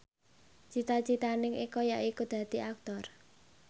cita citane Eko yaiku dadi Aktor